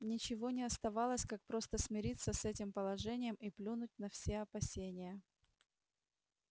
ничего не оставалось как просто смириться с этим положением и плюнуть на все опасения